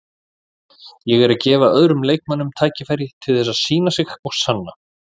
Ég er að gefa öðrum leikmönnum tækifæri til þess að sýna sig og sanna.